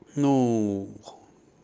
ну